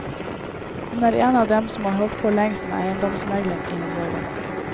Hun er en av dem som har holdt på lengst med eiendomsmegling i området.